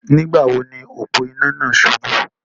Nígbà wo ni òpó-iná náà subú?